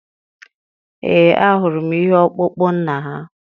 Ee, ahụrụ m ihe ọkpụkpụ nna ha.